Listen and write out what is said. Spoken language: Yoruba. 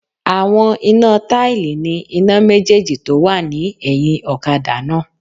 Àwọn iná táìlì ní iná méjèjì tó wà ní ẹ̀hìn ọ̀kadà náà